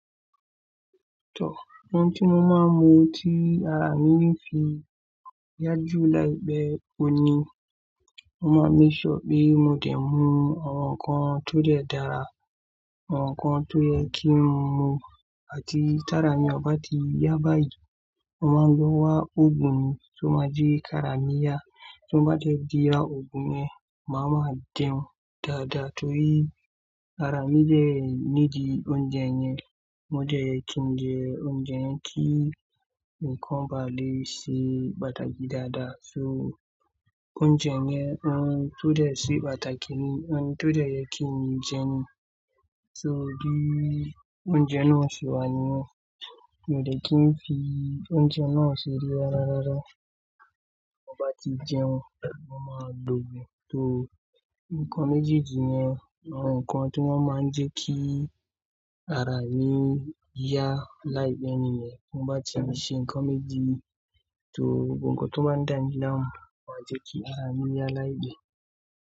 Tọ, ohun tí mo máa ń mu tí ara mi fi yá jù láì pẹ́ o ni, mo máa ń lè ṣọ pé mo dẹ̀ mu àwọn nǹkan tó dẹ́ dára àwọn nǹkan tó yẹ kí n mu àti tára mi ọ bá ti yá bá ìjù, mo máa gbé wá òògùn tó máa jẹ́ kí ara mi yá, tó bá dẹ́ ti ra òògùn yẹn, màá ma jẹun dáadáa torí ara mi jẹ́ nídìí oúnjẹ yẹn, mo dẹ̀ kí n jẹ oúnjẹ yẹn kí nǹkan ba lè ṣe pàtàkì dáadáa. So oúnjẹ yẹn, ohun tó dẹ́ ṣe pàtàkì ni, ohun tó dẹ́ yẹ kí n jẹ ni. So bí oúnjẹ náà ṣe wà nìyẹn, mi ò dẹ́ kí n fi oúnjẹ náà ṣe eré rárá. Mo bá ti jẹun, mo máa lògùn torí nǹkan méjì-méjì ni àwọn nǹkan tí wọ́n máa ń jẹ́ kí ara mi yá láì pẹ́ ni ni wọn bá ti ń ṣe nǹkan méjì torí ohun kan tó bá dà mí láàmú, wọn máa jẹ́ kí ara mi yá láì pẹ́